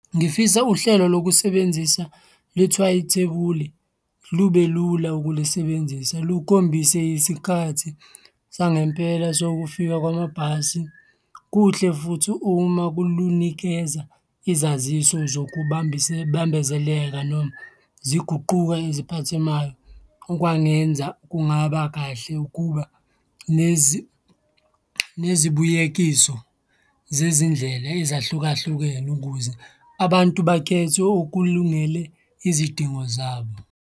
Ngifisa uhlelo lokusebenzisa lithuwayithebule, lube lula ukulisebenzisa, lukhombise isikhathi sangempela sokufika kwamabhasi. Kuhle futhi uma lunikeza izaziso zokubambezeleka noma ziguquka eziphathemayo, okwangenza kungaba kahle ukuba nezibuyekiso zezindlela ezahlukahlukene ukuze abantu bakhethe okulungele izidingo zabo.